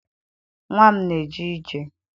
Nnwa m na-eje ije